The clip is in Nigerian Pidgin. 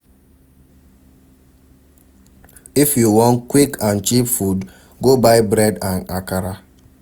If you wan quick and cheap food, go buy bread and akara.